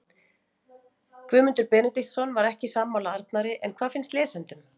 Guðmundur Benediktsson var ekki sammála Arnari en hvað finnst lesendum?